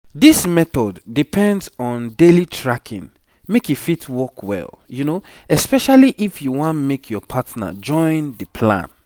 this method depends on daily tracking make e fit work well especially if you want make your partner joinb the plan